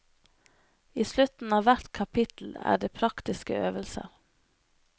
I slutten av hvert kapittel er det praktiske øvelser.